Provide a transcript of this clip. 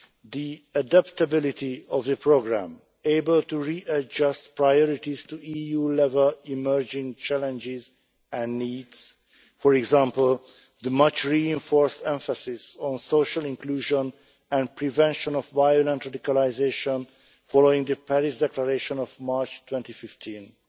the adaptability of the programme, able to re adjust priorities to EU level emerging challenges and needs, for example the much reinforced emphasis on social inclusion and prevention of violent radicalisation, following the Paris Declaration of March 2015, and